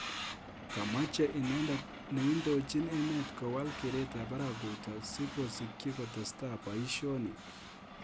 Komache inendet neindojin emet kowal keret arap Ruto siko sikyi kotestai boishonik